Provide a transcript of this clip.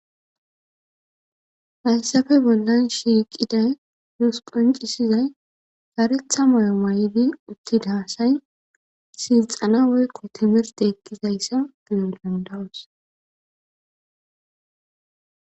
Hayssafe bollan shiiqiday duus qoncisizay saretha moyo waay'di uttidahaasay silxana woykko timirde eqqizayssa giyo dandawus.